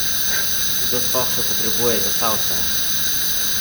Kdo sploh še potrebuje zasavca?